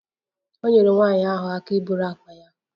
O nyeere nwanyị ahụ aka iburu akpa ya